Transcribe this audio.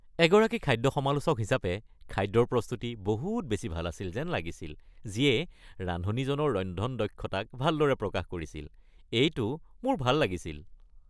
এগৰাকী খাদ্য সমালোচক হিচাপে খাদ্যৰ প্ৰস্তুতি বহুত বেছি ভাল আছিল যেন লাগিছিল যিয়ে ৰান্ধনীজনৰ ৰন্ধন দক্ষতাক ভালদৰে প্ৰকাশ কৰিছিল। এইটো মোৰ ভাল লাগিছিল।